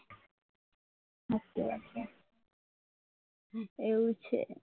એવું છે